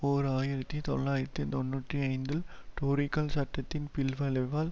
ஓர் ஆயிரத்தி தொள்ளாயிரத்தி தொன்னூற்றி ஐந்தில் டோரிக்கள் சட்டத்தின் பின்விளைவால்